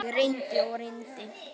Ég reyndi og reyndi.